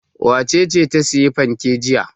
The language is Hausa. Wace ce ta sayi fanke jiya?